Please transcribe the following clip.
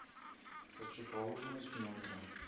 хочу поужинать в номере